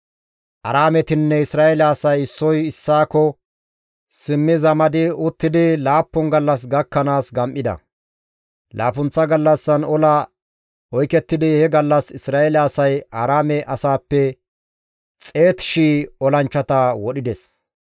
Aaraametinne Isra7eele asay issoy issaakko simmi zamadi uttidi laappun gallas gakkanaas gam7ides. Laappunththa gallassan ola oykettidi he gallas Isra7eele asay Aaraame asaappe 100,000 olanchchata wodhides.